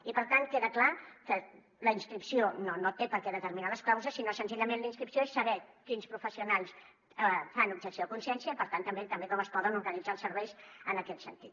i per tant queda clar que la inscripció no té per què determinar les causes sinó senzillament la inscripció és saber quins professionals fan objecció de consciència i per tant també com es poden organitzar els serveis en aquest sentit